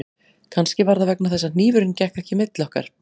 Kannski var það vegna þess að hnífurinn gekk ekki milli okkar